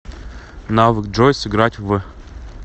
навык джой сыграть в